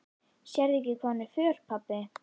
Sérðu ekki hvað hún er föl, pabbi?